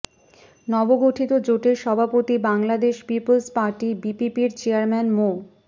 নবগঠিত জোটের সভাপতি বাংলাদেশ পিপলস পার্টি বিপিপির চেয়ারম্যান মো